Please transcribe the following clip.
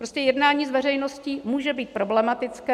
Prostě jednání s veřejností může být problematické.